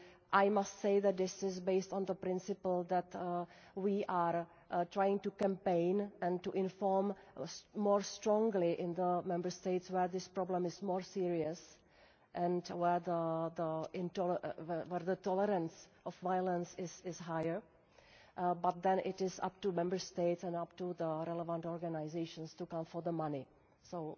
women. I must say that this is based on the principle that we are trying to campaign and to inform more strongly in the Member States where this problem is more serious and where the tolerance of violence is higher, but then it is up to Member States and up to the relevant organisations to come for the money,